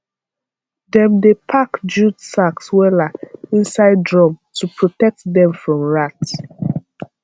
dem dey pack jute sacks wella inside drum to protect dem from rat